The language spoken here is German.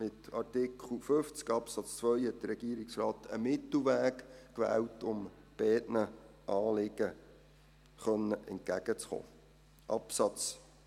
Mit Artikel 50 Absatz 2 hat der Regierungsrat einen Mittelweg gewählt, um beiden Anliegen entgegenkommen zu können.